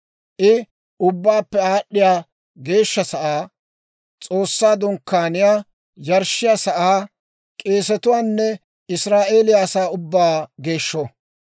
I Ubbaappe Aad'd'iyaa Geeshsha Sa'aa, S'oossaa Dunkkaaniyaa, yarshshiyaa sa'aa, k'eesetuwaanne Israa'eeliyaa asaa ubbaa geeshsho.